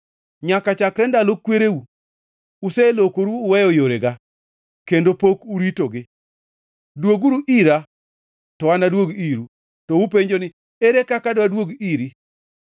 Nyaka chakre ndalo kwereu uselokoru uweyo yorega, kendo pok uritogi. Dwoguru ira to anaduog iru.” “To upenjo ni, ‘Ere kaka dwaduog iri?’